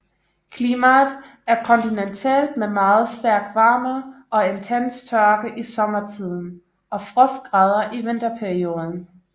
Klimaet er kontinentalt med meget stærk varme og intens tørke i sommertiden og frostgrader i vinterperioden